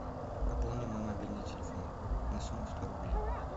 пополни мой мобильный телефон на сумму сто рублей